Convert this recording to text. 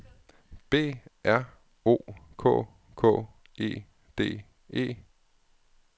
B R O K K E D E